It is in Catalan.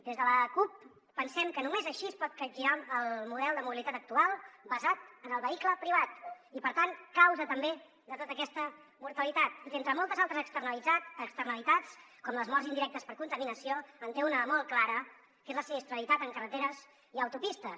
des de la cup pensem que només així es pot capgirar el model de mobilitat actual basat en el vehicle privat i per tant causa també de tota aquesta mortalitat i que entre moltes altres externalitats com les morts indirectes per contaminació en té una de molt clara que és la sinistralitat en carreteres i autopistes